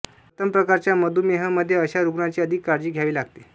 प्रथम प्रकारच्या मधुमेहीमध्ये अशा रुग्णांची अधिक काळजी घ्यावे लागते